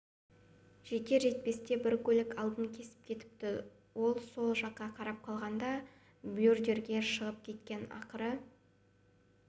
жетер-жетпесте бір көлік алдын кесіп кетіпті ол сол жаққа қарап қалғанда бордюрге шығып кеткен ақыры